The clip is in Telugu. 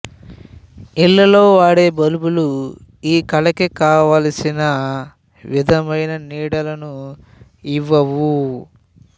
ఇళ్ళలో వాడే బల్బులు ఈ కళకి కావలసిన విధమైన నీడలని ఇవ్వవు